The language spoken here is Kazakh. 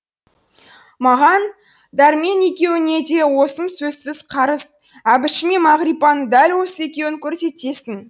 маған дәрмен екеуіңе де осы сөзсіз қарыз әбішіме мағрипаны дәл осы екеуің көрсетесің